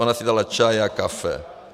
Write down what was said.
Ona si dala čaj, já kafe.